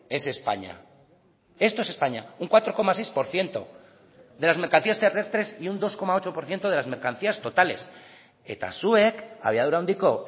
es españa esto es españa un cuatro coma seis por ciento de las mercancías terrestres y un dos coma ocho por ciento de las mercancías totales eta zuek abiadura handiko